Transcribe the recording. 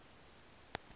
ne hiv ne